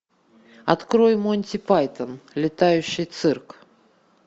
открой монти пайтон летающий цирк